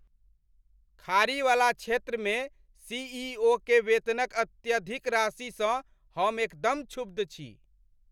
खाड़ी वला क्षेत्रमे सीईओ के वेतनक अत्यधिक राशिसँ हम एकदम क्षुब्ध छी।